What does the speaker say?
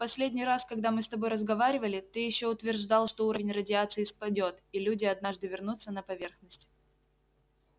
в последний раз когда мы с тобой разговаривали ты ещё утверждал что уровень радиации спадёт и люди однажды вернутся на поверхность